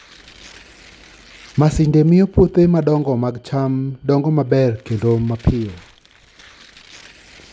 Masinde miyo puothe madongo mag cham dongo maber kendo mapiyo.